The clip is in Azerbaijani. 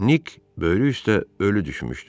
Nik böyrü üstə ölü düşmüşdü.